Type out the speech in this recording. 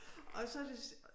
Og så til